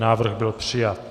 Návrh byl přijat.